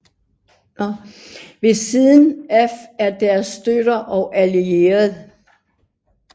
Ved siden af er deres støtter og allierede